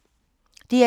DR2